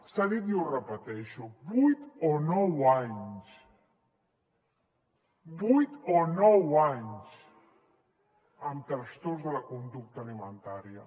s’ha dit i ho repeteixo vuit o nou anys vuit o nou anys amb trastorns de la conducta alimentària